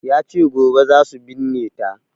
Yace gobe zasu binne ta